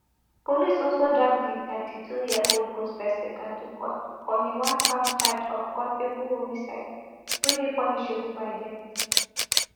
police also drag di thirty-twoyearold gospel singer to court on a onecount charge of culpable homicide wey dey punishable by death